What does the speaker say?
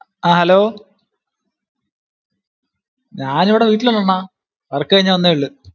ആഹ് Hello ഞാൻ ഇവിടെ വീട്ടിൽ ഉണ്ട് അണ്ണാ. work കഴിഞ്ഞു വന്നേ ഉള്ളു.